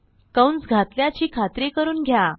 कंस घातल्याची खात्री करून घ्या